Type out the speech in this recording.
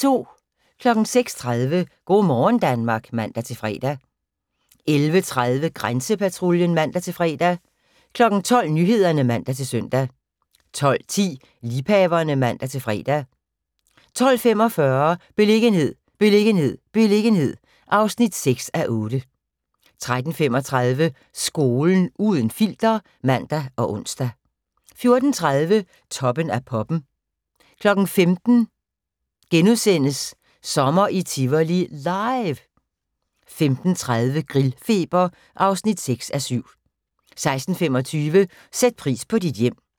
06:30: Go' morgen Danmark (man-fre) 11:30: Grænsepatruljen (man-fre) 12:00: Nyhederne (man-søn) 12:10: Liebhaverne (man-fre) 12:45: Beliggenhed, beliggenhed, beliggenhed (6:8) 13:35: Skolen – uden filter (man og ons) 14:30: Toppen af poppen 15:00: Sommer i Tivoli – LIVE * 15:30: Grillfeber (6:7) 16:25: Sæt pris på dit hjem